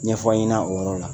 Ɲɛfɔ an ɲɛna o yɔrɔ la